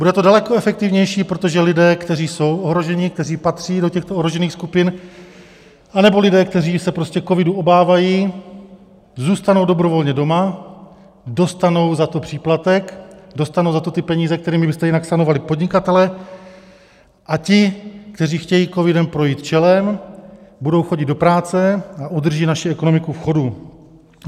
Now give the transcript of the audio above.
Bude to daleko efektivnější, protože lidé, kteří jsou ohroženi, kteří patří do těchto ohrožených skupin, anebo lidé, kteří se prostě covidu obávají, zůstanou dobrovolně doma, dostanou za to příplatek, dostanou za to ty peníze, kterými byste jinak sanovali podnikatele, a ti, kteří chtějí covidem projít čelem, budou chodit do práce a udrží naši ekonomiku v chodu.